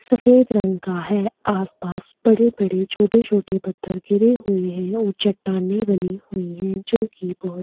सफेद रंग का है आसपास बड़े-बड़े छोटे-छोटे पत्थर गिरे हुए हैं और चट्टाने बनी हुई हैं जो कि बहोत --